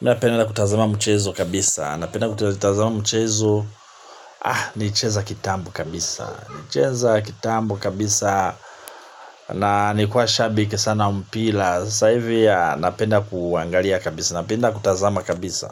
Mi napenda kutazama mchezo kabisa. Napenda na kutazama mchezo. Nilicheza kitambo kabisa. Nilicheza kitambo kabisa. Na nikuwa shabik sana mpila. Sasa hivi napenda kuangalia kabisa. Napenda kutazama kabisa.